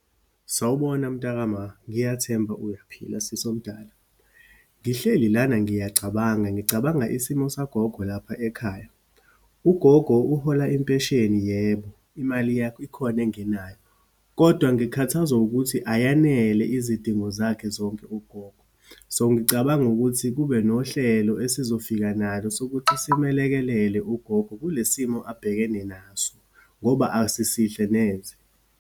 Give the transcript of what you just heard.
Sawubona mtakama, ngiyathemba uyaphila sisi omdala. Ngihleli lana ngiyacabanga, ngicabanga isimo sagogo lapha ekhaya. Ugogo uhola impesheni, yebo. Imali ikhona engenayo, kodwa ngikhathazwa ukuthi ayanele izidingo zakhe zonke ugogo. So, ngicabanga ukuthi kube nohlelo esizofika nalo, sokuthi simelekelele ugogo kule simo abhekene naso, ngoba asisihle neze.